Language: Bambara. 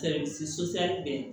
sotaramɔ